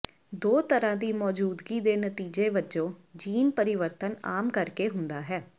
ਦੋ ਤਰ੍ਹਾਂ ਦੀ ਮੌਜੂਦਗੀ ਦੇ ਨਤੀਜੇ ਵਜੋਂ ਜੀਨ ਪਰਿਵਰਤਨ ਆਮ ਕਰਕੇ ਹੁੰਦਾ ਹੈ